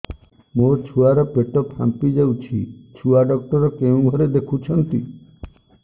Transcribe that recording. ମୋ ଛୁଆ ର ପେଟ ଫାମ୍ପି ଯାଉଛି ଛୁଆ ଡକ୍ଟର କେଉଁ ଘରେ ଦେଖୁ ଛନ୍ତି